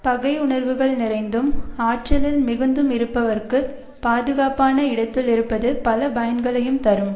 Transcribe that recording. பகை உணர்வுகள் நிறைந்தும் ஆற்றலில் மிகுந்தும் இருப்பவர்க்கு பாதுகாப்பான இடத்துள் இருப்பது பல பயன்களையும் தரும்